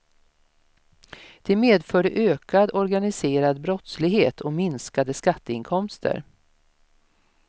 Det medförde ökad organiserad brottslighet och minskade skatteinkomster.